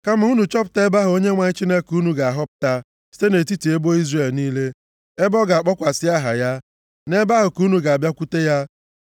Kama unu chọpụta ebe ahụ Onyenwe anyị Chineke unu ga-ahọpụta, site nʼetiti ebo Izrel niile, ebe ọ ga-akpọkwasị aha ya. Nʼebe ahụ ka unu ga-abịakwute ya.